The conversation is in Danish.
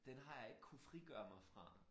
Den har jeg ikke kunne frigøre mig fra